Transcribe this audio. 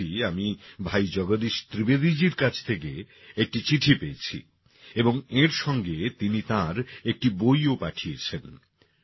সম্প্রতি আমি ভাই জগদীশ ত্রিবেদীজীর কাছ থেকে একটি চিঠি পেয়েছি এবং এঁর সঙ্গে তিনি তাঁর একটি বইও পাঠিয়েছেন